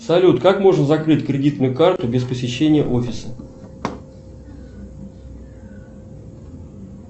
салют как можно закрыть кредитную карту без посещения офиса